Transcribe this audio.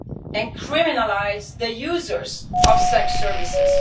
and criminalise the users of sex services.